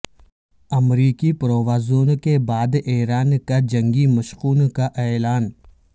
امریکی پروازوں کے بعد ایران کا جنگی مشقوں کا اعلان